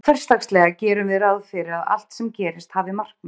Hversdagslega gerum við ráð fyrir að allt sem gerist hafi markmið.